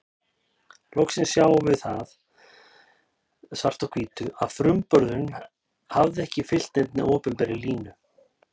Loksins sáum við það svart á hvítu að frumburðurinn hafði ekki fylgt neinni opinberri línu.